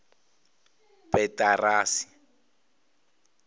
petirasi